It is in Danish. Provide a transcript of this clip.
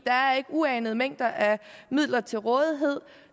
der er ikke uanede mængder af midler til rådighed